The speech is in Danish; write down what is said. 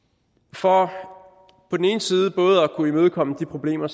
for på den ene side både at kunne imødekomme de problemer